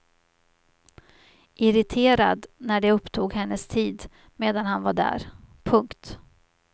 Irriterad när det upptog hennes tid medan han var där. punkt